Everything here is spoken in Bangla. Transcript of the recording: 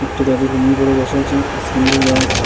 একটি দাদু লুঙ্গি পড়ে বসে আছেন খুব সুন্দর গ্যারেজ ।